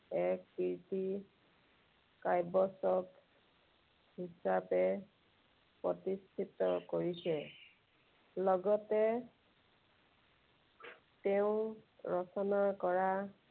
এক কীৰ্তি কাব্যৰচক হিচাপে প্ৰতিষ্ঠিত কৰিছে। লগতে তেওঁ ৰচনা কৰা